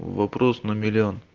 вопрос на миллион